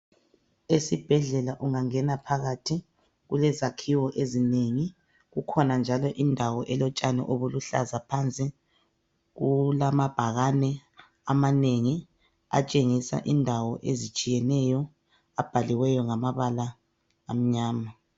Esibhedlela ungangena phakathi. Kulezakhiwo ezinengi. Kukhona njalo indawo elotshani obuluhlaza phansi. Kulamabhakani amanengi. Atshengisa indawo ezitshiyeneyo. Abhaliweyo, ngamabala amnyama.